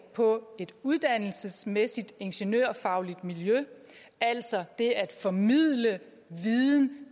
på et uddannelsesmæssigt ingeniørfagligt miljø altså det at formidle viden